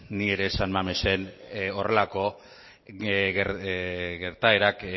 ni ere san mamesen horrelako gertaerak